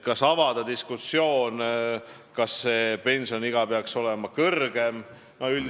Kas avada diskussioon, kas see pensioniiga peaks olema kõrgem?